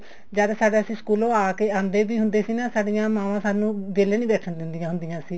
ਜਦ ਅਸੀਂ ਸਕੂਲੋਂ ਆ ਕੇ ਆਉਂਦੇ ਵੀ ਹੁੰਦੇ ਸੀ ਸਾਡੀਆਂ ਮਾਵਾਂ ਸਾਨੂੰ ਵਿਹਲੇ ਨੀ ਬੈਠਣ ਦਿੰਦਿਆਂ ਹੁੰਦੀਆਂ ਸੀ